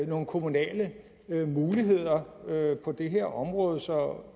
nogle kommunale muligheder på det her område så